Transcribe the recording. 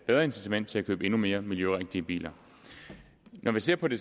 bedre incitament til at købe endnu mere miljørigtige biler når man ser på det